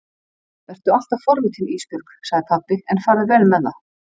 Vertu alltaf forvitin Ísbjörg, sagði pabbi, en farðu vel með það.